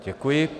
Děkuji.